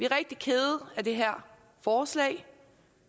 rigtig kede af det her forslag vi